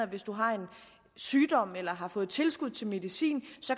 hvis du har en sygdom eller har fået tilskud til medicin